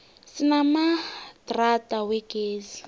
sinamadrada wegezi